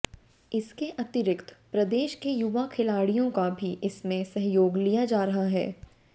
इसके अतिरिक्त प्रदेश के युवा खिलाडियों का भी इसमें सहयोग लिया जा रहा है